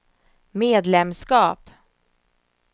medlemskap